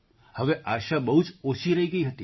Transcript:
હવે આશા બહુ જ ઓછી રહી ગઈ હતી